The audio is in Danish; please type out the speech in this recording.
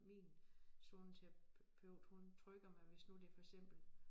Min zoneterapeut hun trykker mig hvis nu det for eksempel